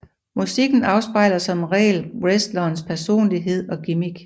Musikken afspejler som regel wrestlerens personlighed og gimmick